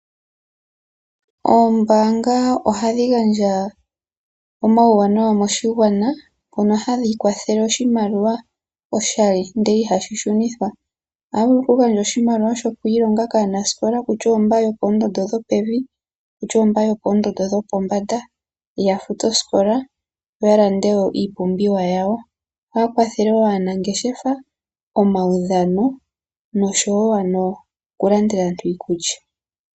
Oombanga ohadhi gandja omawuwanawa moshigwana mono hadhi kwathele oshimaliwa oshali ndele ihashi shunithwa . Ohaya vulu okugandja oshimaliwa shoku ilonga kaanasikola kutya oyo mboka yopoondondo dhopevi, kutya oyo mboka yopoondonso dhopombanda yafute oosikola yo yalande woo iipumbiwa yawo. Ohaya kwathele woo aanangeshefa ,omaudhano noshowo oku landela aantu iikulya.